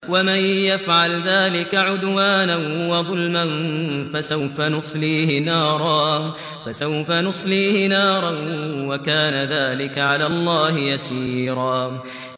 وَمَن يَفْعَلْ ذَٰلِكَ عُدْوَانًا وَظُلْمًا فَسَوْفَ نُصْلِيهِ نَارًا ۚ وَكَانَ ذَٰلِكَ عَلَى اللَّهِ يَسِيرًا